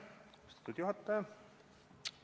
Austatud juhataja!